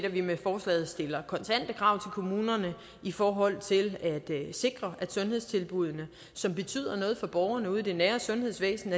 at vi med forslaget stiller kontante krav kommunerne i forhold til at sikre at sundhedstilbuddene som betyder noget for borgerne ude i det nære sundhedsvæsen